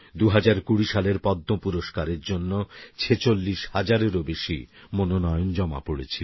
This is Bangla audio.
২০২০ সালের পদ্ম পুরস্কারের জন্য ৪৬০০০এরও বেশী মনোনয়ন জমা পড়েছিল